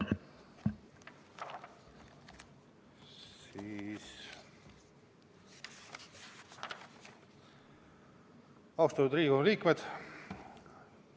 Austatud Riigikogu liikmed!